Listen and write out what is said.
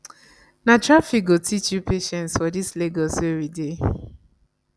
na traffic go teach you patience for dis lagos wey we dey